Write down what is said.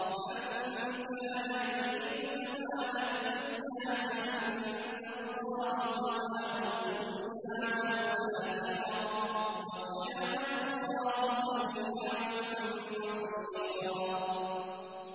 مَّن كَانَ يُرِيدُ ثَوَابَ الدُّنْيَا فَعِندَ اللَّهِ ثَوَابُ الدُّنْيَا وَالْآخِرَةِ ۚ وَكَانَ اللَّهُ سَمِيعًا بَصِيرًا